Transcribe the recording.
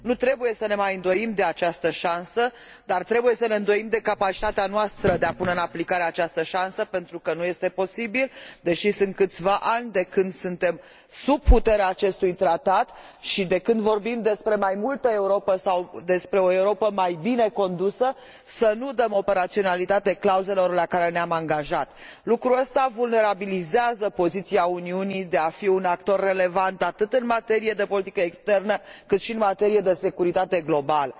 Nu trebuie să ne mai îndoim de această șansă, dar trebuie să ne îndoim de capacitatea noastră de a pune în aplicare această șansă, pentru că nu este posibil, deși au trecut câțiva ani de când suntem sub puterea acestui tratat și de când vorbim despre mai multă Europă sau despre o Europă mai bine condusă, să nu dăm operaționalitate clauzelor la care ne am angajat. Lucrul acesta vulnerabilizează poziția Uniunii, care dorește să fie un actor relevant atât în materie de politică externă, cât și în materie de securitate globală.